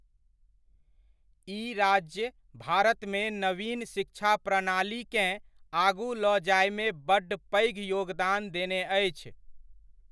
ई राज्य भारतमे नवीन शिक्षा प्रणालीकेँ आगु लऽ जायमे बड्ड पैघ योगदान देने अछि।